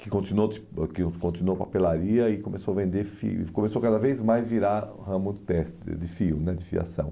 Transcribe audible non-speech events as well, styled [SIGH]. que continuou tipo ãh que continuou papelaria e começou a vender fio, começou cada vez mais a virar ramo [UNINTELLIGIBLE] de fios né, de fiação.